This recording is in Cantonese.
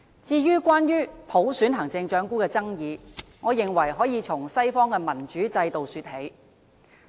至於關於普選行政長官的爭議，我認為可以從西方的民主制度說起。